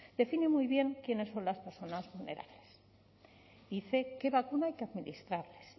define muy bien quiénes son las personas vulnerables dice qué vacuna hay que administrarles